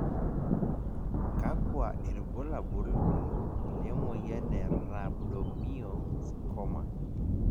kakua irbulabol le moyian e Rhabdomyosarcoma?